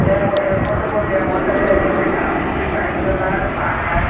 eh mui eh photobot degongte ole ebet ekan sepahojala park aai.